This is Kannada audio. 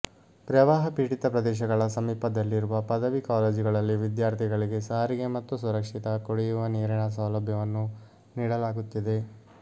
ಪ್ರವಾಹ ಪೀಡಿತ ಪ್ರದೇಶಗಳ ಸಮೀಪದಲ್ಲಿರುವ ಪದವಿ ಕಾಲೇಜುಗಳಲ್ಲಿ ವಿದ್ಯಾರ್ಥಿಗಳಿಗೆ ಸಾರಿಗೆ ಮತ್ತು ಸುರಕ್ಷಿತ ಕುಡಿಯುವ ನೀರಿನ ಸೌಲಭ್ಯವನ್ನು ನೀಡಲಾಗುತ್ತಿದೆ